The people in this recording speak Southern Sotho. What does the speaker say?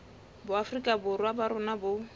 boafrika borwa ba rona bo